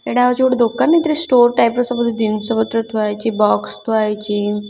ଏଇଟା ହଉଚି ଗୋଟେ ଦୋକାନ। ଏଥିରେ ଷ୍ଟୋର ଟାଇପ୍‌ ର ସବୁ ଜିନିଷ ପତ୍ର ଥୁଆ ହେଇଚି ବକ୍ସ ଥୁଆ ହୋଇଚି --